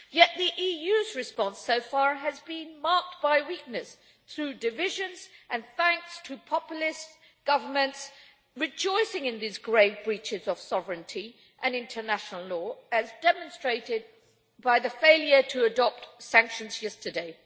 Yet the EU's response so far has been marked by weakness through divisions and thanks to populist governments rejoicing in these grave breaches of sovereignty and international law, as demonstrated by the failure to adopt sanctions yesterday.